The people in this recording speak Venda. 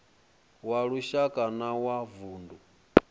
wa lushaka na wa vundu